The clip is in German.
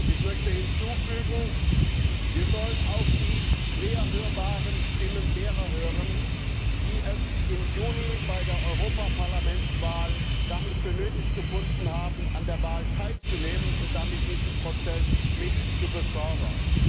Ich möchte hinzufügen Wir sollen auch die schwer hörbaren Stimmen derer hören, die es im Juni bei der Europawahl nicht für nötig gefunden haben, an der Wahl teilzunehmen und damit diesen Prozess mit zu befördern.